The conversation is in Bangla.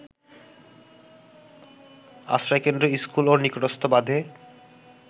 আশ্রয়কেন্দ্র, স্কুল ও নিকটস্থ বাঁধে